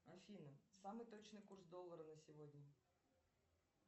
афина самый точный курс доллара на сегодня